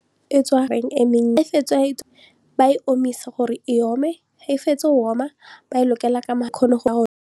fa e ba e omisa gore e ome ga e fetsa go oma ba e lokela ka .